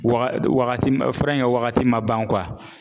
Waga wagati ma fura in wagati ma ban